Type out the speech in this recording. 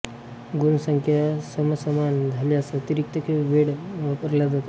गुण संख्या समसमान झाल्यास अतिरिक्त वेळ वापरल्या जातो